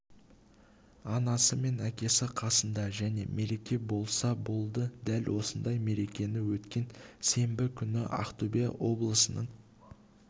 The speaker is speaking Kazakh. анасы мен әкесі қасында және мереке болса болды дәл осындай мерекені өткен сенбі күні ақтөбе облысының